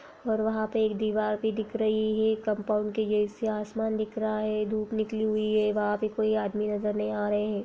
और वहां पे एक दिवार भी दिख रही है कम्पाउंड के गेट से आसमान दिख रहा है धूप निकली हुई है वहां पे कोई आदमी नजर नही आ रहे है।